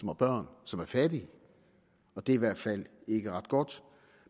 med børn som er fattige og det er i hvert fald ikke ret godt